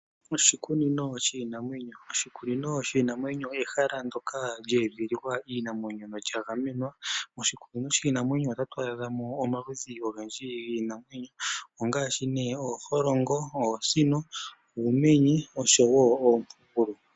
Oshikunino shiinanwenyo. Oshikunino shiinanwenyo olyo ehala ndoka lye edhililwa iinamwenyo no lya gamenwa . Moshikunino shiinanwenyo otatu adhamo omaludhi ogendji giinamwenyo ngaashi ooholongo, oosino, uumenye oshowo oompugulu.